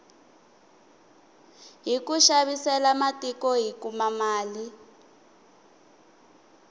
hiku xavisela matiko hi kuma mali